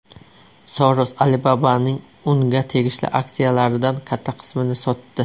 Soros Alibaba’ning unga tegishli aksiyalaridan katta qismini sotdi.